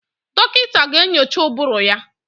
Dọkịta ga-enyocha ụbụrụ ya.